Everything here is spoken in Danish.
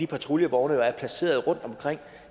patruljevognene er placeret rundt omkring